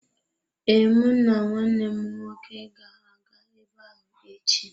Ee, mụ na nwanne m nwoke ga-aga ebe ahụ echi.